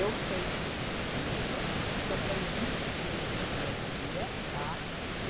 Eu sei do que eles precisam, porque eu convivo com eles o dia a dia, tá?